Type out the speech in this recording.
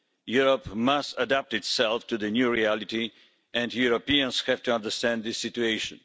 Europe must adapt itself to the new reality, and Europeans have to understand this situation.